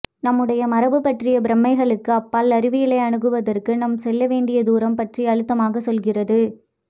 நம்முடைய மரபு பற்றிய பிரமைகளுக்கு அப்பால் அறிவியலை அணுகுவதற்கு நாம் செல்லவேண்டிய தூரம் பற்றி அழுத்தமாகச் சொல்கிறது